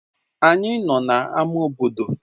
Anyị nọ na ámá bodo